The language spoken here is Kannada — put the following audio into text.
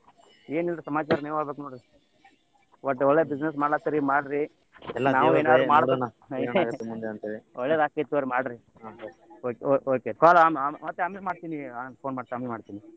ಏನಿಲ್ಲ ಸಮಾಚಾರ ನೀವ ಹೇಳ್ಬೆಕ್ ನೋಡ್ರಿ ಒಟ್ಟ ಒಳ್ಳೆ business ಮಾಡಕತ್ತಿರಿ ಮಾಡ್ರಿ ಒಳ್ಳೇದ ಆಕೆತ್ತ ತಗಗೋರ್ರೀ ಮಾಡ್ರಿ okay ಮತ್ತ್ call ಆಮೇಲ್ ಮಾಡ್ತೀನಿ ಮತ್ತ್ ಆಮೇಲ್ ಮಾಡ್ತೀನಿ.